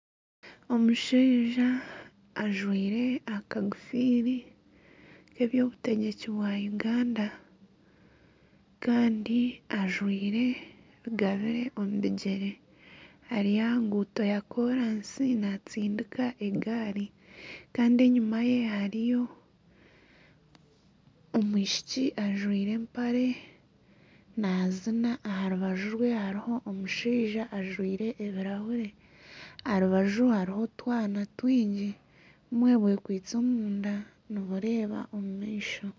Omushaija ajwaire akagofiira k'eby'obutegyeki bwa Uganda. Kandi ajwaire rugabire omu bigyere. Ari aha ruguuto rwakoransi naatsindika egaari kandi enyima ye hariyo omwishiki ajwaire empare naazina. Aha rubaju rwe hariho omushaija ajwaire ebirahuri. Aha rwe hariho otwana twingi bumwe bwekwaitse omu nda nibureeba omu maisho.